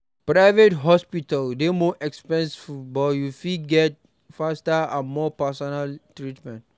Private hospital dey more expensive but you fit get faster and more personal treatment